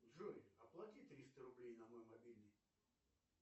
джой оплати триста рублей на мой мобильный